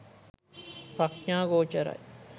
ප්‍රඥා ගෝචරයි